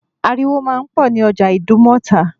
Ariwo máa ń pọ̀ ní ọjà Ìdúmọ̀tà